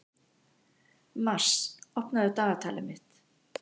Mars, opnaðu dagatalið mitt.